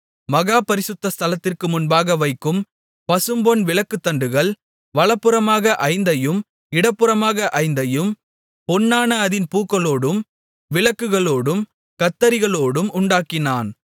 மகா பரிசுத்த ஸ்தலத்திற்கு முன்பாக வைக்கும் பசும்பொன் விளக்குத்தண்டுகள் வலதுபுறமாக ஐந்தையும் இடதுபுறமாக ஐந்தையும் பொன்னான அதின் பூக்களோடும் விளக்குகளோடும் கத்தரிகளோடும் உண்டாக்கினான்